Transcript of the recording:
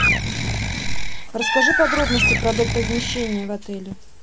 расскажи подробности про доп размещение в отеле